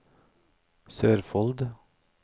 Sørfold